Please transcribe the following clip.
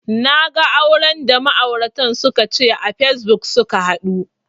Naga auran da ma'auratan suka ce a facebook suka haɗu